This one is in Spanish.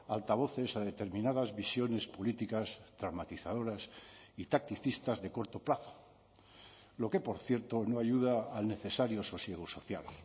altavoces a determinadas visiones políticas traumatizadoras y tacticistas de corto plazo lo que por cierto no ayuda al necesario sosiego social